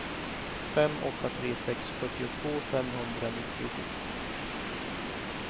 fem åtta tre sex fyrtiotvå femhundranittiosju